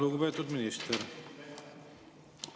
Lugupeetud minister!